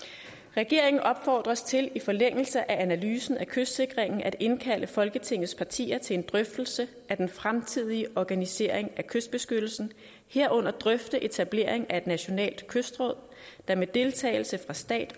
regeringen opfordres til i forlængelse af analysen af kystsikringen at indkalde folketingets partier til en drøftelse af den fremtidige organisering af kystbeskyttelsen herunder drøfte etablering af et nationalt kystråd der med deltagelse fra stat